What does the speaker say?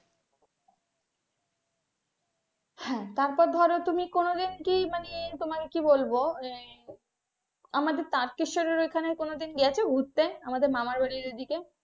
হ্যাঁ তারপর ধরা তুমি কোন দিন কি মানে তোমার কি বলবো মানে আমাদের তারকেশ্বর ওখানে কোনদিন গেছ ঘুরতে আমাদের মামার বাড়ির ওই দিকে।